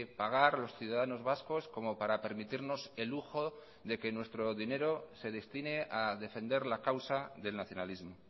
pagar los ciudadanos vascos como para permitirnos el lujo de que nuestro dinero se destine a defender la causa del nacionalismo